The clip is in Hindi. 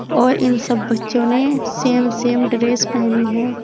और इन सब बच्चों ने सेम सेम ड्रेस पहनी है।